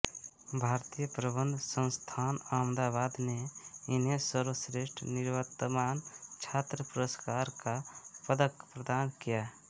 भारतीय प्रबंधन संस्थान अहमदाबाद ने इन्हें सर्वश्रेष्ठ निवर्तमान छात्र पुरस्कार का पदक प्रदान किया